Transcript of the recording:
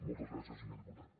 moltes gràcies senyor diputat